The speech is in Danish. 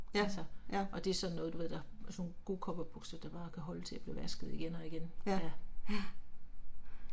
Altså. Og det sådan noget du ved der, altså nogle gode cowboybukser der bare kan holde til at blive vasket igen og igen, ja